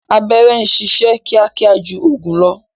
Abẹ́rẹ́ ń sisẹ́ kíákíá ju ọ̀gùn lọ